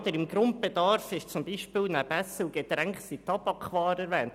Unter dem Grundbedarf sind zum Beispiel nebst Essen und Getränken Tabakwaren erwähnt.